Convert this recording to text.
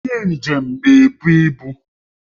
Onye njem na-ebu ibu